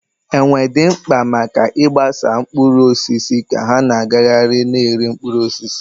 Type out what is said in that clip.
Enwe dị mkpa maka ịgbasa mkpụrụ osisi ka ha na-agagharị na-eri mkpụrụ osisi.